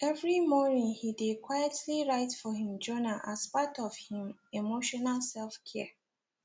every morning he dey quietly write for him journal as part of him emotional selfcare